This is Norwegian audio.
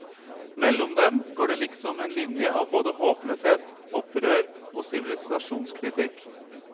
Mellom dem går det liksom en linje av både håpløshet, opprør og sivilisasjonskritikk.